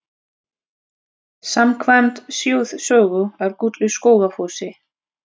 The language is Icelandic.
Samkvæmt þjóðsögu er gull í Skógafossi.